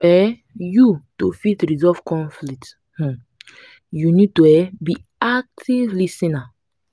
um you to fit resolve conflict um you need to um be active lis ten er